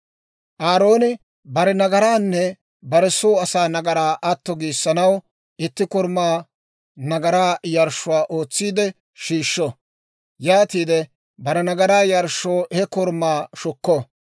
«Aarooni bare nagaraanne bare soo asaa nagaraa atto giissanaw, itti korumaa nagaraa yarshshuwaa ootsiide shiishsho. Yaatiide bare nagaraa yarshshoo he korumaa shukko.